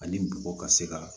Ani bɔgɔ ka se ka